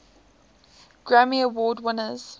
grammy award winners